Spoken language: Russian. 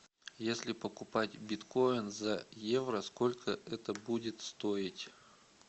если покупать биткоин за евро сколько это будет стоить